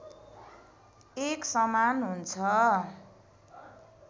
एकसमान हुन्छ